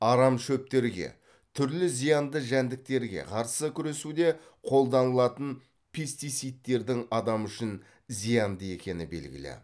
арам шөптерге түрлі зиянды жәндіктерге қарсы күресуде қолданылатын пестицидтердің адам үшін зиянды екені белгілі